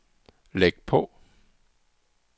læg på